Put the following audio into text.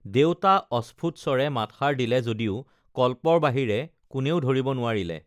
দেউতা অস্ফুট স্বৰে মাতষাৰ দিলে য দিও কল্পৰ বাহিৰে কোনেও ধৰিব নোৱাৰিলে